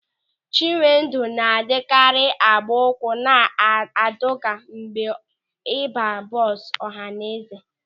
Chinwendụ na-adịkarị agba ụkwụ na adọga mgbe ọ ịba bọọsụ ọhaneze.